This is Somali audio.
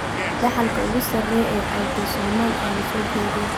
Dhaxalka ugu sarreeya ee Autosomal ayaa la soo jeediyay.